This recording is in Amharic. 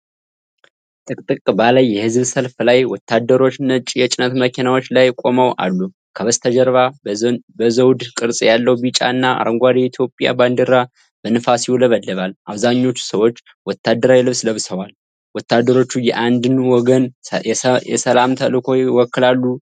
ጥቅጥቅ ባለ የህዝብ ሰልፍ ላይ ወታደሮች ነጭ የጭነት መኪናዎች ላይ ቆመው አሉ። ከበስተጀርባ በዘውድ ቅርጽ ያለው ቢጫ እና አረንጓዴ የኢትዮጵያ ባንዲራ በንፋስ ይውለበለባል። አብዛኞቹ ሰዎች ወታደራዊ ልብስ ለብሰዋል። ወታደሮቹ የአንድን ወገን የሰላም ተልዕኮ ይወክላሉ?